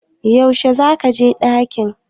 Yaushe za ka je ɗaki?